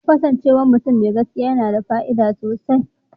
Kasancewar mutum mai gaskiya yana da fa'ida sosai.